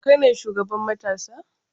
Kai ne shugaban matasa?